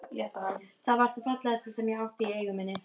Það var það fallegasta sem ég átti í eigu minni.